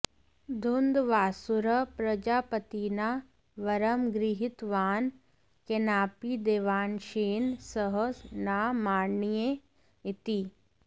धुन्ध्वासुरः प्रजापतिना वरं गृहीतवान् केनापि देवांशेन सः न मारणीयः इति